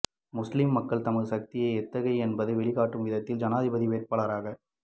முஸ்லிம்மக்கள் தமது சக்தி எத்தகையது என்பதைக் வெளிக்காட்டும் விதத்தில் ஜனாதிபதி வேட்பாளராக